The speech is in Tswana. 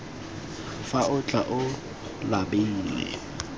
fa o tla o labile